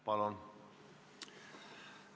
Palun!